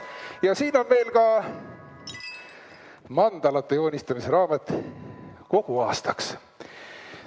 Ja siin on veel mandalate joonistamise raamat kogu aastaks.